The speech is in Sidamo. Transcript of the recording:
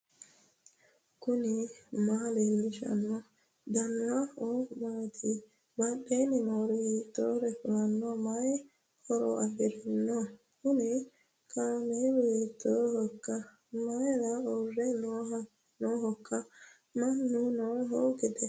knuni maa leellishanno ? danano maati ? badheenni noori hiitto kuulaati ? mayi horo afirino ? kuni kaamelu hiittohoikka mayra uurre noohoikka mannu nooho giddo